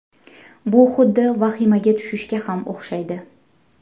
Bu xuddi vahimaga tushishga ham o‘xshaydi.